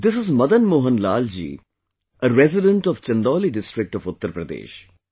This is Madan Mohan Lal ji, a resident of Chandauli district of Uttar Pradesh